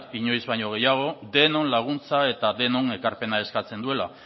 inoiz baino gehiago denon laguntza eta denon ekarpena eskatzen duela